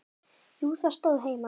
Jú, það stóð heima.